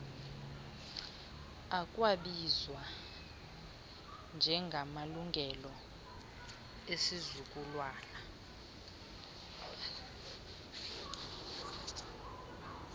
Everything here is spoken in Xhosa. ekwabizwa njengamalungelo esizukulwana